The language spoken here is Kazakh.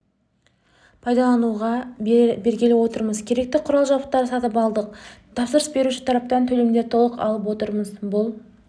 пайдалануға бергелі отырмыз керекті құрал-жабдықтарды сатып алдық тапсырыс беруші тараптан төлемдерді толық алып отырмыз бұл